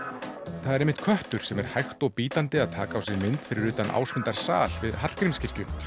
það er einmitt köttur sem er hægt og bítandi að taka á sig mynd fyrir utan Ásmundarsal við Hallgrímskirkju